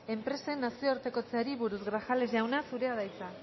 enpresen nazioartekotzeari buruz grajales jauna zurea da hitza